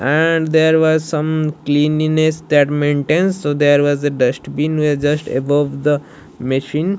and there was some cleanliness that maintains so there was a dustbin where just above the machine.